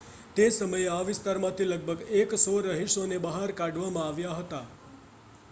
તે સમયે આ વિસ્તારમાંથી લગભગ 100 રહીશોને બહાર કાઢવામાં આવ્યા હતા